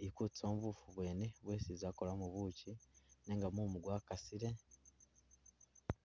ili kutusamo bufu bwene bwesi i'za kukolamo buchi nenga mumu gwakasile